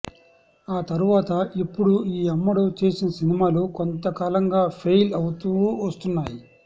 ఆ తరువాత ఇప్పుడు ఈ అమ్మడు చేసిన సినిమాలు కొంతకాలంగా ఫెయిల్ అవుతూ వస్తున్నాయి